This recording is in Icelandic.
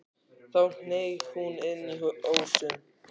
Þá hneig hún inn í ósinn.